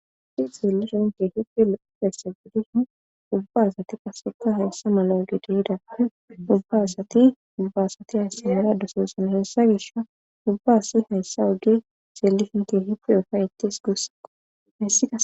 lopephesse gidi ubba asati paseka hayssa mala oge dohida ubba asati ubbaasati hayssimera dososana hessa gish ubba asi hayssa oge seelifinke hipe ofay ettees guussakko hessia